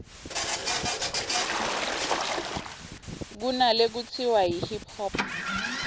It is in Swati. kunalekutsiwa yi hip hop